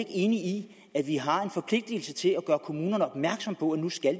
enig i at vi har en forpligtelse til at gøre kommunerne opmærksom på at nu skal